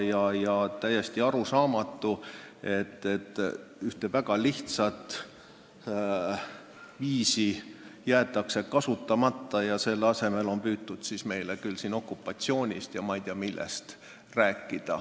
On täiesti arusaamatu, et ühte väga lihtsat viisi ei kasutata ja selle asemel räägitakse meile okupatsioonist ja ma ei tea millest veel.